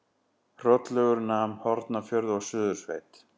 Hrollaugur nam Hornafjörð og Suðursveit.